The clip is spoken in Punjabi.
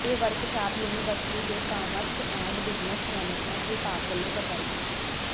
ਇਹ ਵਰਕਸ਼ਾਪ ਯੂਨੀਵਰਸਿਟੀ ਦੇ ਕਾਮਰਸ ਐਂਡ ਬਿਜ਼ਨਸ ਮੈਨੇਜਮੈਂਟ ਵਿਭਾਗ ਵੱਲੋਂ ਕਰਵਾਈ ਗਈ